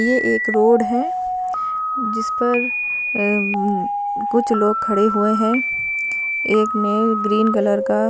ये एक रोड हे जिसपर अं कुछ लोग खड़े हुए हे एक मेल ग्रीन कलर का--